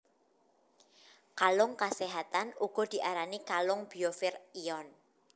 Kalung kaséhatan uga diarani kalung biofir ion